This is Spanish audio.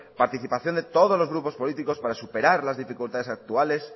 participación de todos los grupos políticos para superar las dificultades actuales